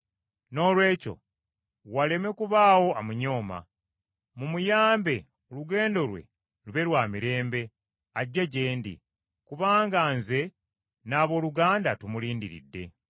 Noolwekyo waleme kubaawo amunyooma. Mumuyambe olugendo lwe lube lwa mirembe, ajje gye ndi. Kubanga nze n’abooluganda tumulindiridde.